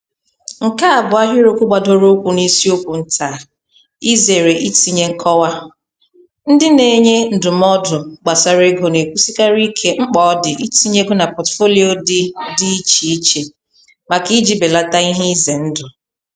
Nke a bụ ahịrịokwu gbadoro ụkwụ na isiokwu nta a "Izere itinye nkọwa":Ndị na-enye ndụmọdụ gbasara ego na-ekwusikarị ike mkpa ọ dị itinye ego na pọtụfoliyo dị dị iche iche maka iji belata ihe ize ndụ.